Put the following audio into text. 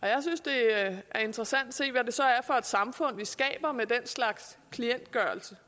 jeg synes det er interessant at se hvad det så er for et samfund vi skaber med den slags klientgørelse